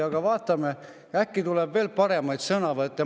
Aga vaatame, äkki tuleb veel paremaid sõnavõtte.